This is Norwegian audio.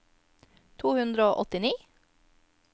to hundre og åttini